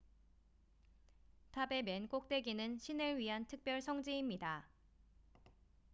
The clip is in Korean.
탑의 맨 꼭대기는 신을 위한 특별 성지입니다